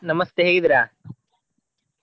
ನಮಸ್ತೆ ಹೇಗಿದ್ದೀರಾ?